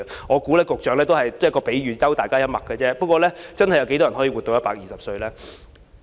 我相信局長只是作一個比喻，幽默一下，試問有多少人真的可以活到120歲呢？